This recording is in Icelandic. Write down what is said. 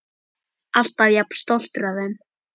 Alltaf jafn stoltur af þeim.